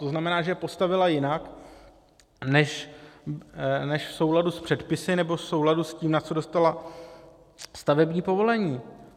To znamená, že je postavila jinak než v souladu s předpisy nebo v souladu s tím, na co dostala stavební povolení.